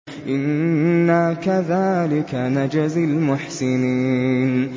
إِنَّا كَذَٰلِكَ نَجْزِي الْمُحْسِنِينَ